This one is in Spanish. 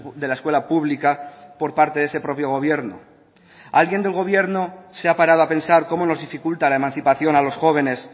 de la escuela pública por parte de ese propio gobierno alguien del gobierno se ha parado a pensar cómo nos dificulta la emancipación a los jóvenes